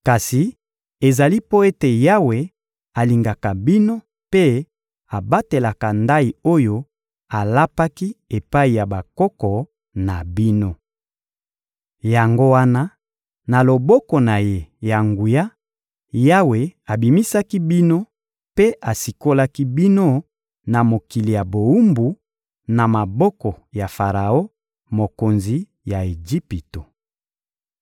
Kasi ezali mpo ete Yawe alingaka bino mpe abatelaka ndayi oyo alapaki epai ya bakoko na bino. Yango wana, na loboko na Ye ya nguya, Yawe abimisaki bino mpe asikolaki bino na mokili ya bowumbu, na maboko ya Faraon, mokonzi ya Ejipito.